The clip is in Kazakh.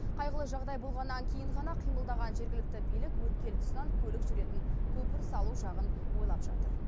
қайғылы жағдай болғаннан кейін ғана қимылдаған жергілікті билік өткел тұсынан көлік жүретін көпір салу жағын ойлап жатыр